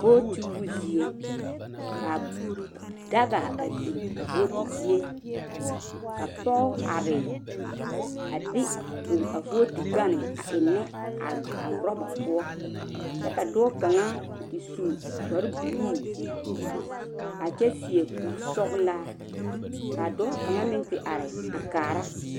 Votio zie ka daga a biŋ a voti zie ka pɔge are a de o a votu gane a eŋe a oroba poɔ kyɛ ka dɔɔ kaŋa a te su kpare buluu a kyɛ seɛ kuri sɔglaa kaa dɔɔ kaŋa meŋ te are a kaara.